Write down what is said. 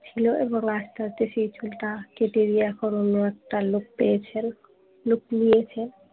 ছিল এবং আস্তে আস্তে সেই চুলটা কেটে উনি এখুন অন্য একটা look পেয়েছেন look নিয়েছেন